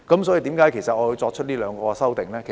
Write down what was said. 所以，為何我要提出這兩項修訂呢？